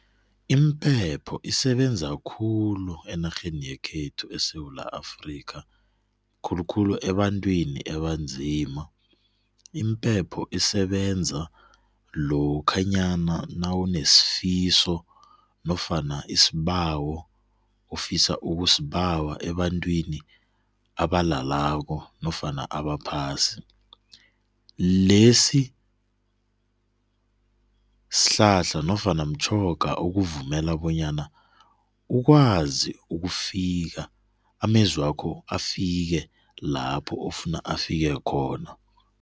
Impepho isebenza khulu enarheni yekhethu eSewula Afrikha khulukhulu ebantwini ebanzima. Impepho isebenza lokhanyana nawunesifiso nofana isibawo ofisa ukusibawa ebantwini abalalako nofana abaphasi. Lesi sihlahla nofana mtjhoga okuvumela bonyana ukwazi ukufika amezwakho afike lapho ofuna afike khona.